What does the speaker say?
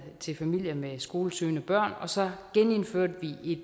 til familier med skolesøgende børn og så genindførte vi